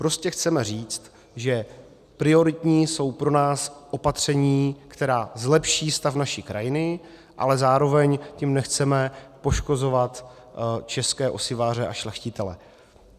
Prostě chceme říci, že prioritní jsou pro nás opatření, která zlepší stav naší krajiny, ale zároveň tím nechceme poškozovat české osiváře a šlechtitele.